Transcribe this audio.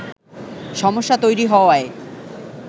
সমস্যা তৈরি হওয়ায়